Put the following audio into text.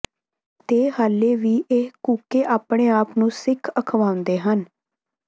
ਤੇ ਹਾਲੇ ਵੀ ਇਹ ਕੂਕੇ ਆਪਣੇ ਆਪ ਨੂੰ ਸਿੱਖ ਅਖਵਾਉਂਦੇ ਹਨ